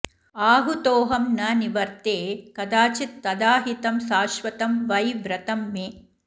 आहूतोऽहं न निवर्ते कदाचित् तदाहितं शाश्वतं वै व्रतं मे